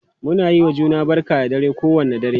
Muna yiwa juna barka da dare kowane dare.,